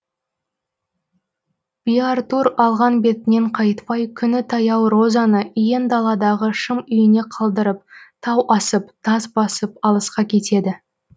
биартур алған бетінен қайтпай күні таяу розаны иен даладағы шым үйіне қалдырып тау асып тас басып алысқа кетеді